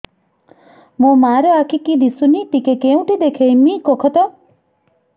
ମୋ ମା ର ଆଖି କି ଦିସୁନି ଟିକେ କେଉଁଠି ଦେଖେଇମି କଖତ